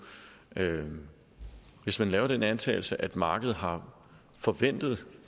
hvis man laver den antagelse at markedet har forventet